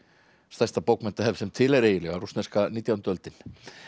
stærsta bókmenntahefð sem til er eiginlega rússneska nítjánda öldin